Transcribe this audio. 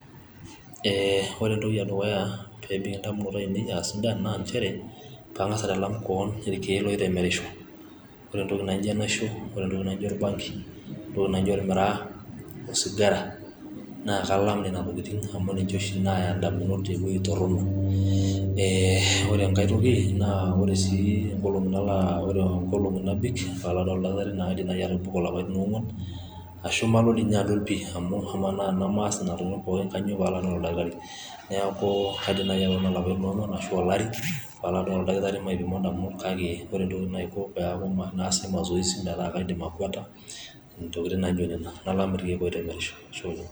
Eeh ore entoki edukuya pebik indamunot ainei aa sidan naa nchere pangas aitalam kewon irkieek oitemerisho ,ore entoki naijo enaisho ,ore entoki naijo orbanki ,entoki naijo ormiraa, osigara naa Kalam Nena tokitin amu ninche oshi Naya indamunot uwuei torono ,eeh ore enkae toki naa ore sii nkolongi nalo ore nkolongi nabik Palo aduare oldakitari kaidim nai atobiko ilapaitin oongwan ashu Malo dii ninye adol pi amu amaa tenemaas Nena tokitin pookin kainyioo pee Alo adol oldakitari niaku kaidim naji atobiko ilapaitin oongwan ashu olari Palo adol oldakitari maipimo ndamunot kake ore entoki naiko naa kaas masoesi metaa kaidim akweta ntokitin naijo Nena ,nalam irkieek oitemerisho, Ashe oleng !.